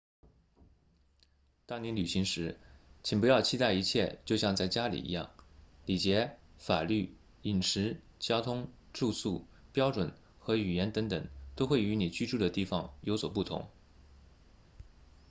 当你旅行时请不要期待一切就像在家里一样礼节法律饮食交通住宿标准和语言等等都会与你居住的地方有所不同